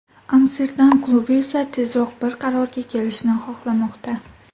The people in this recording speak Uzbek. Amsterdam klubi esa tezroq bir qarorga kelishni xohlamoqda.